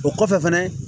O kɔfɛ fɛnɛ